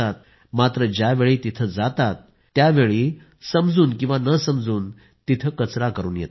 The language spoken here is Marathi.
मात्र ज्यावेळी तिथं जातात त्यावेळी समजून किंवा न समजून तिथे कचरा करून येतात